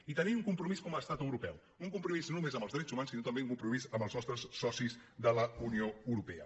i tenim un com·promís com a estat europeu un compromís no només amb els drets humans sinó també un compromís amb els nostres socis de la unió europea